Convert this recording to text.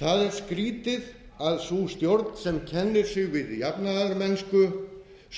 það er skrýtið að sú stjórn sem kennir sig við almenna jafnaðarmennsku